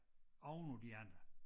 Ovenpå de andre